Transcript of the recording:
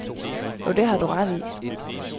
Jo, det har du ret i.